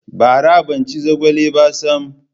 Bara ban ci zogale ba sam.